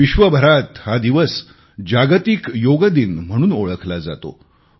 विश्वभरात हा दिवस जागतिक योग दिन म्हणून ओळखला जातो